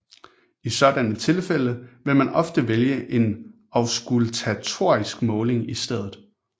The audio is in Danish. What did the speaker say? I sådanne tilfælde vil man ofte vælge en auskultatorisk måling i stedet